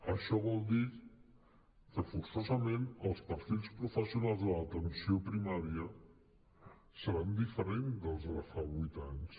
això vol dir que forçosament els perfils professionals de l’atenció primària seran diferents dels de fa vuit anys